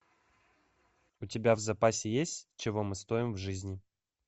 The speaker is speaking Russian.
у тебя в запасе есть чего мы стоим в жизни